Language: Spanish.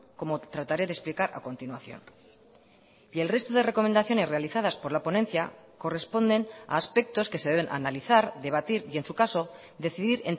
como trataré de explicar a continuación y el resto de recomendaciones realizadas por la ponencia corresponden a aspectos que se deben analizar debatir y en su caso decidir